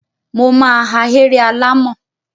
Mo ma ahéré alàmọ̀.